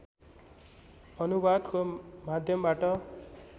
अनुवादको माध्यमबाट